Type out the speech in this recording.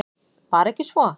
Var ekki svo?